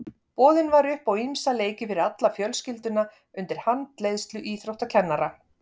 Boðið var upp á ýmsa leiki fyrir alla fjölskylduna undir handleiðslu íþróttakennara.